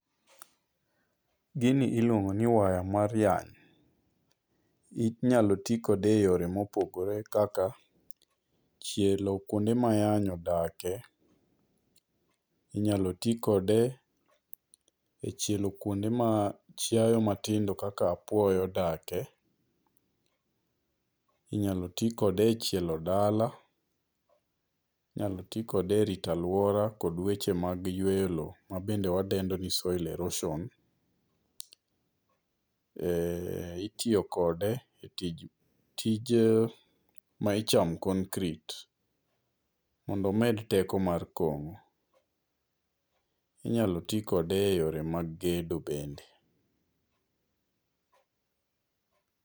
Gini iluongo ni waya mar yany. Inyalo ti kode e yore mopogore kaka chielo kuonde ma yany odakie. Inyalo ti kode e chielo kuonde ma chiayo matindo kaka apuoyo odakie. Inyalo ti kode e chielo dala. Inyalo ti kode e rito aluora kod weche mag yweyo low ma bende wadendo ni soil erosion. Itiyo kode tij ma icho concrete modo omed teko mar kon. Inyalo ti kode e yore mag gedo bende.